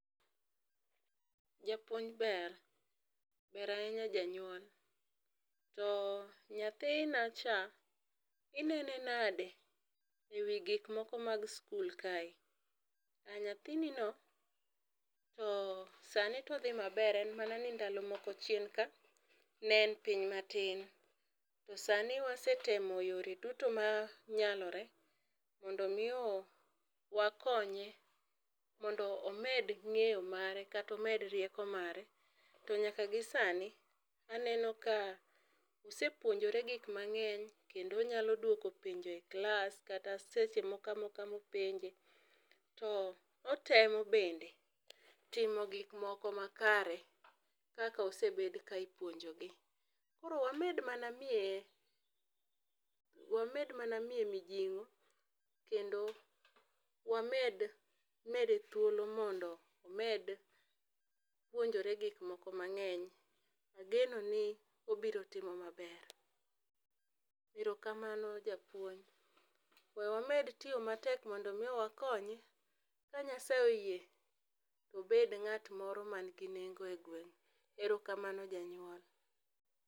Japuonj ber, ber ahinya janyuol, to nyathina cha ineno nade e wi gik moko man skul kae? Aa nyathini no to sani to odhi ma ber en mana ni ndalo moko chien ka ne en piny ma tin. To sani wasetemo yore duto ma nyalore mondo mi wakonye mondo omed ng'eyo mare kata omed rieko mare to nyaka gi sani aneno ka osepuonjore gik mang'eny kendo onyalo dwoko penjo e klas kata seche moko amoka ma openjo to otemo bende timo gik moko makare kaka osebed ka ipuonjo gi. Koro wamed ma na miye, wamed mana miye mijing'o kendo wamed mede thuolo mondo omed puonjore gik moko ma ng'eny, ageno ni obiro timo ma ber. Erokanmano japuonj we wamed tiyo ma tek mondo mi wakonye ka Nyasaye oyie to obed ng'at moro ma ni gi nengo e gweng'. Erokamano janyuol.